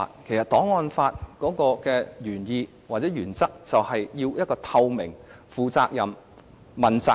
其實，檔案法的原意或原則，是要確保政府透明、負責任、和接受問責。